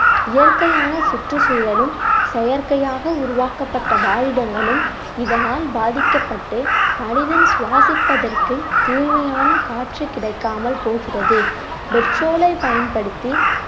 இயற்கையான சுற்றுச்சூழலும் செயற்கையாக உருவாக்கப்பட்ட இதனால் பாதிக்கப்பட்டு மனிதன் சுவாசிப்பதற்கு தூய்மையான காற்று கிடைக்காமல் போகிறது petrol ஐ பயன்படுத்தி